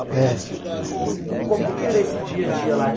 É. E como é que era esse dia a dia lá?